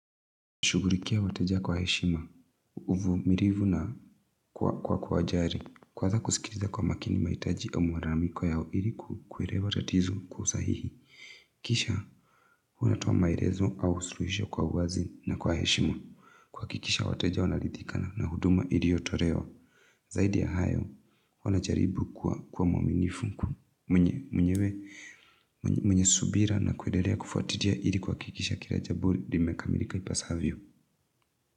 Shugurikia wateja kwa heshima, uvu mirivu na kwa kwa jari, kwa za kusikiriza kwa makini maitaji au mararamiko yao iliku kwelewa tatizo kwa usahihi. Kisha, hunatoa maelezo au suluisho kwa uwazi na kwa heshima, kuakikisha wateja wana lidhikana na huduma iliotolewa. Zaidi ya hayo, huwa na jariibu kuwa mwaminifu, mwenye subira na kuendelea kufuatilia ili kuakikisha kila jambo li meka milika ipasavyo.